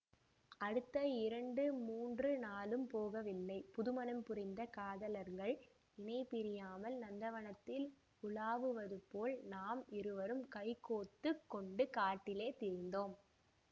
அடுத்த இரண்டு மூன்று நாளும் போகவில்லை புது மணம் புரிந்த காதலர்கள் இணைபிரியாமல் நந்தவனத்தில் உலாவுவதுபோல் நாம் இருவரும் கைகோத்து கொண்டு காட்டிலே திரிந்தோம்